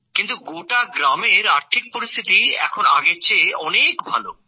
কিন্তু গোটা গ্রামের আর্থিক পরিস্থিতি এখন আগের চেয়ে অনেক ভাল